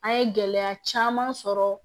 An ye gɛlɛya caman sɔrɔ